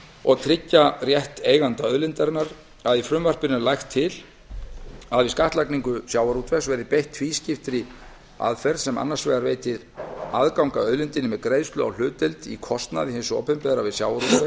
og tryggja rétt eiganda auðlindarinnar sem lagt er til í frumvarpinu að við skattlagningu sjávarútvegs verði beitt tvískiptri aðferð sem annars vegar veitir aðgang að auðlindinni með greiðslu á hlutdeild í kostnaði hins opinbera við sjávarútveg